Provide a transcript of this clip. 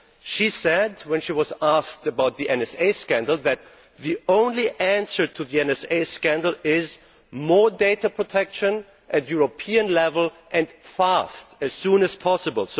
She said, when she was asked about the NSA scandal, that the only answer to the NSA scandal is more data protection at European level and fast, as soon as possible.